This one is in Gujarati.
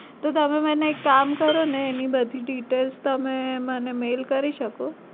તો તમે મને એક કામ કરો એની બધી details તમે મને mail કરી શકો?